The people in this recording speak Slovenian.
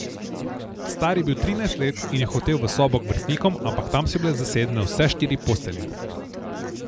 Star je bil trinajst let in je hotel v sobo k vrstnikom, ampak tam so bile zasedene vse štiri postelje.